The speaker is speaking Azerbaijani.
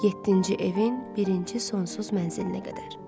Yeddinci evin birinci sonsuz mənzilinə qədər.